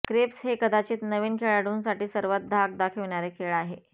crabs हे कदाचित नवीन खेळाडूंसाठी सर्वात धाक दाखविणारे खेळ आहे